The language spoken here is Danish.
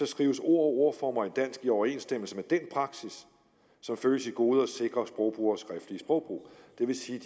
skrives ord og ordformer i dansk i overensstemmelse med den praksis som følges i gode og sikre sprogbrugeres skriftlige sprogbrug det vil sige